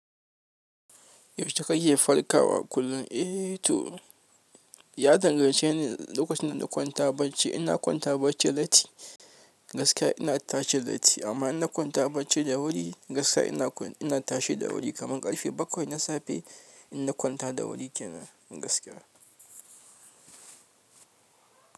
Yaushe kake farkawa kullum? Eh to, ya dangance ne da lokacin na kwanta bacci. Ina kwanta bacci latti gaskiya ina tashi latti, amma ina kwanta bacci da wuri, gaskiya ina tashi da wuri kamar ƙarfe bakwai na safe in na kwanta da wuri kenan gaskiya.